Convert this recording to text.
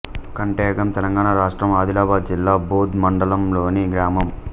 కంటెగామ్ తెలంగాణ రాష్ట్రం ఆదిలాబాద్ జిల్లా బోథ్ మండలంలోని గ్రామం